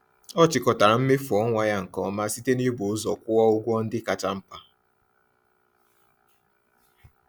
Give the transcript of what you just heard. Ọ chịkọtara mmefu ọnwa ya nke ọma site n’ịbụ ụzọ kwụọ ụgwọ ndị kacha mkpa.